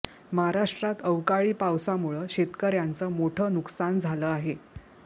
महाराष्ट्रात अवकाळी पावसामुळं शेतकऱ्यांचं मोठं नुकसान झालं आहे